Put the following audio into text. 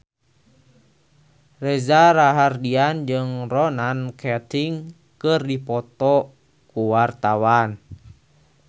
Reza Rahardian jeung Ronan Keating keur dipoto ku wartawan